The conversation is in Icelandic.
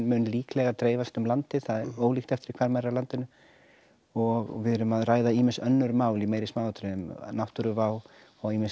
mun líklega dreifast um landið það er ólíkt eftir því hvar maður er á landinu og við erum að ræða ýmis önnur mál í meiri smáatriðum náttúruvá og ýmis